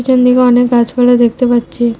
চানদিকে অনেক গাছপালা দেখতে পাচ্ছি।